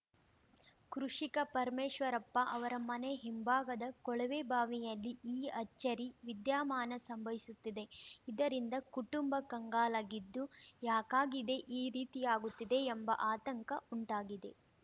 ಕೃಷಿಕ ಪರಮೇಶ್ವರಪ್ಪ ಅವರ ಮನೆ ಹಿಂಭಾಗದ ಕೊಳವೆಬಾವಿಯಲ್ಲಿ ಈ ಅಚ್ಚರಿ ವಿದ್ಯಾಮಾನ ಸಂಭವಿಸುತ್ತಿದೆ ಇದರಿಂದ ಕುಟುಂಬ ಕಂಗಾಲಾಗಿದ್ದು ಯಾಕಾಗಿದೆ ಈ ರೀತಿಯಾಗುತ್ತಿದೆ ಎಂಬ ಆತಂಕ ಉಂಟಾಗಿದೆ